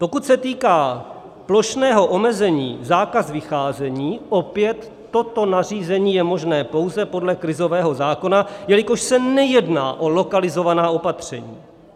Pokud se týká plošného omezení: zákaz vycházení - opět, toto nařízení je možné pouze podle krizového zákona, jelikož se nejedná o lokalizovaná opatření.